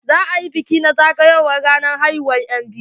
Za a yi gagarumin bikin zagowar ranar haihuwa na enbiyu.